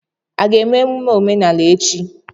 A ga-eme emume omenala echi?